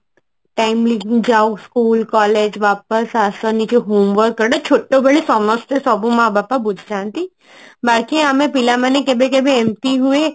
timely ଯାଅ school collage ୱାପସ ଆସ ନିଜ homework କର ଛୋଟ ବେଳେ ସମସ୍ତେ ସବୁ ମା ବାପା ବୁଝାନ୍ତି ବାକି ଆମେ ପିଲାମାନେ କେବେ କେବେ ଏମତି ହୁଏ